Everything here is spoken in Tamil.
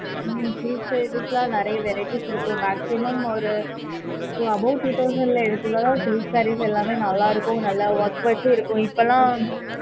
ஹம் silk sarees லாம் நிறைய variety இருக்கும் maximum ஒரு above two thousand ல silk saree எல்லாமே நல்லா இருக்கும் நல்ல work வெச்சும் இருக்கும் இப்போல்லாம் அதுக்கு ஏத்த மாதிரி college function க்கு அதெல்லாம் super இருக்கும்